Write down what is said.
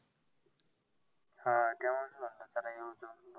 हा त्यामुळच म्हटलं चला येऊ जाऊन.